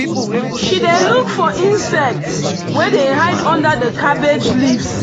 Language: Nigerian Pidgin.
she dey look for insects wey dey hide under the cabbage leaves.